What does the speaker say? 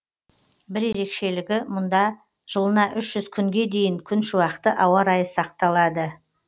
бір ерекшелігі мұнда жылына үш жүз күнге дейін күншуақты ауа райы сақталады